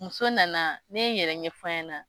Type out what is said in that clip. Muso nana ne ye n yɛrɛ ɲɛf'a ɲɛna.